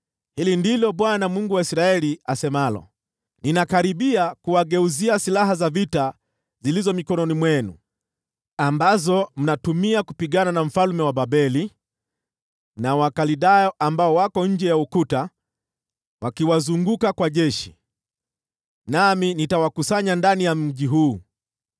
‘Hili ndilo Bwana , Mungu wa Israeli, asemalo: Ninakaribia kuwageuzia silaha za vita zilizo mikononi mwenu, ambazo mnatumia kupigana na mfalme wa Babeli na Wakaldayo ambao wako nje ya ukuta wakiwazunguka kwa jeshi. Nami nitawakusanya ndani ya mji huu.